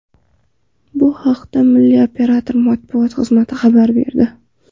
Bu haqda milliy operator matbuot xizmati xabar berdi .